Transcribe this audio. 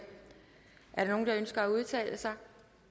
er der nogen der ønsker at udtale sig